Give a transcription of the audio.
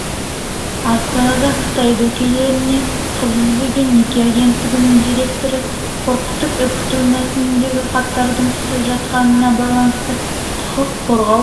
астанада қытай дөкейлеріне қыз іздеген неке агенттігінің директоры қорқытып-үркіту мәніндегі хаттардың түсіп жатқанына байланысты құқық қорғау